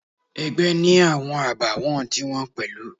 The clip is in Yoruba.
Ẹgbẹ́ ni awọn àbàwọ́n ti wọn pẹ̀lú.